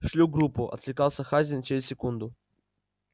шлю группу откликался хазин через секунду